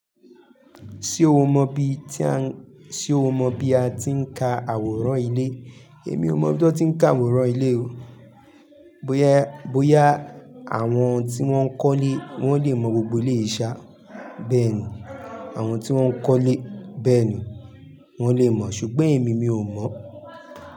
Ṣé o mọ bi a tí ń ka àwòrán ilé? Èmi ò mọ ibí ti wón ti ń ka àwòrán ilé o. Bóyá, bóyá àwọn tí wọ́n kólé wọ́n lè mọ gbogbo eleyii ṣa bẹ́ẹ̀ni, àwọn tí wọ́n kọ́lé bẹ́ẹ̀ni wọ́n lè mọ̀ ṣùgbọ́n èmi mi ò mọ̀.